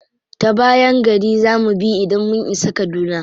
Ta bayan gari za mu bi idan mun isa kaduna.